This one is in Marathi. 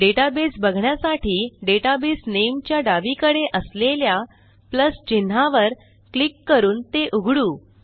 डेटाबेस बघण्यासाठी डेटाबेस नामे च्या डावीकडे असलेल्या प्लस चिन्हावर क्लिक करून ते उघडू